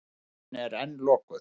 Stöðin er enn lokuð.